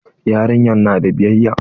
Yarinyar na da biyayya?